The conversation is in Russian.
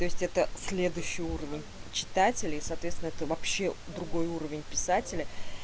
то есть это следующий уровень читателей соответственно это вообще другой уровень писателя